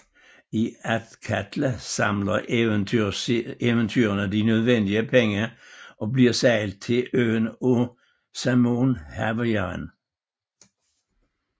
I Athkatla samler eventyrerne de nødvendige penge og bliver sejlet til øen af Saemon Havarian